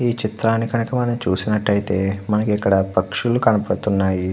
ఈ చిత్రాన్ని గనక మనం చూసినట్లయితే మనకి ఇక్కడ పక్షులు కనబడుతున్నాయి.